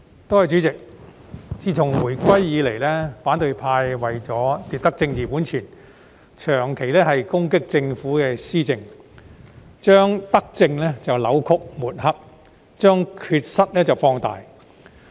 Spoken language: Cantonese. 代理主席，自回歸以來，反對派為了奪得政治本錢，長期攻擊政府施政，將德政扭曲抹黑，將缺失放大。